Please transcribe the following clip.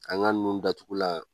An ka nun datugulan